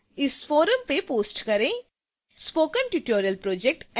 कृपया अपने प्रश्नों को इस forum में post करें